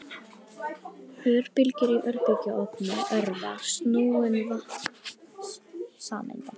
Örbylgjur í örbylgjuofni örva snúning vatnssameinda.